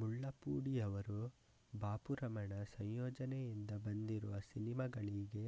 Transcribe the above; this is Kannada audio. ಮುಳ್ಲಪೂಡಿಯವರು ಬಾಪುರಮಣ ಸಂಯೋಜನೆಯಿಂದ ಬಂದಿರುವ ಸಿನೆಮಾಗಳಿಗೆ